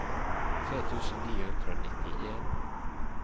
tre tusen ni hundre og nittien